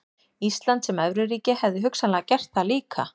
Ísland sem evruríki hefðu hugsanlega gert það líka.